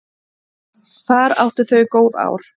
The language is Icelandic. Þar áttu þau góð ár.